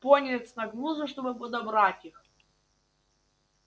пониетс нагнулся чтобы подобрать их